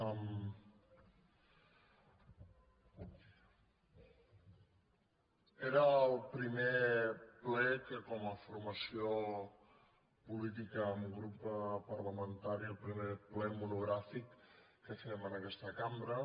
era el primer ple que com a formació política amb grup parlamentari el primer ple monogràfic que fem en aquesta cambra